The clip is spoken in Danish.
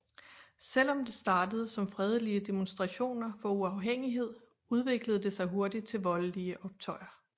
Selvom det startede som fredelige demonstrationer for uafhængighed udviklede det sig hurtigt til voldlige optøjer